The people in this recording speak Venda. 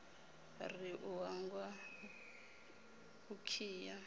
ri u hangwa u khiya